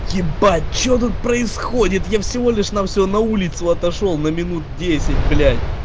ебать что тут происходит я всего лишь на всего на улицу отошёл на минут десять блять